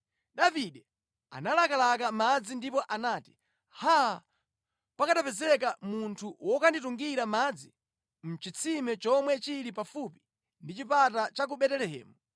Davide analakalaka madzi ndipo anati, “Haa, pakanapezeka munthu wokanditungira madzi a mʼchitsime chomwe chili pafupi ndi chipata cha ku Betelehemu!”